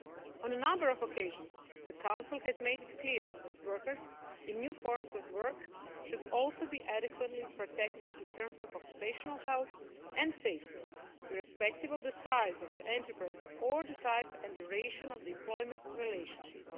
On a number of occasions, the Council has made it clear that workers in new forms of work should also be adequately protected in terms of occupational health and safety, irrespective of the size of the enterprise or the type and duration of the employment relationship.